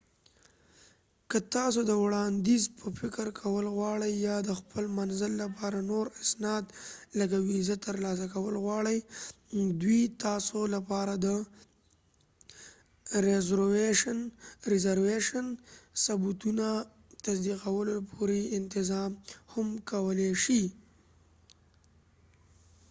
که تاسو د وړاندیز په فکر کول غواړئ یا د خپل منزل لپاره نور اسناد لکه ویزا ترلاسه کول غواړئ، نو دوی تاسو لپاره د رېزروېشن ثبتونه تصدیقولو پورې انتظار هم کولې شي